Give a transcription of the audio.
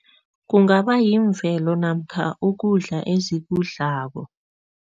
Kungaba yimvelo namkha ukudla ezikudlako.